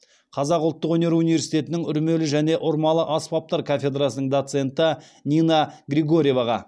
қазақ ұлттық өнер университетінің үрмелі және ұрмалы аспаптар кафедрасының доценті нина григорьеваға